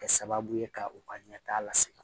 Kɛ sababu ye ka u ka ɲɛtaa lase